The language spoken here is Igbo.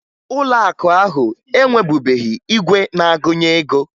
Ụlọakụ ahụ enwebughi igwe na-agụnye ego